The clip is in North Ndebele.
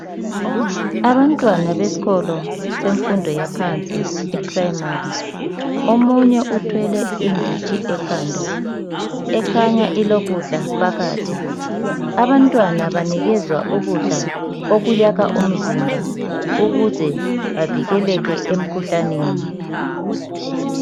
Abantwana besikolo semfundo yaphansi, eprimary. Omunye uthwele inditshi ekhanda. Ekhanya ilokudla phakathi Abantwana banikezwa ukudla okuyakha umzimba. Ukuze bavikeleke, emkhuhlaneni.